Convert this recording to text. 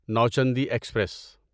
Nauchandi express